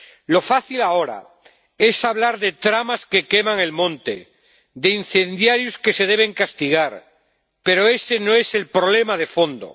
Lo fácil ahora es hablar de tramas que queman el monte, de incendiarios que se deben castigar, pero ese no es el problema de fondo.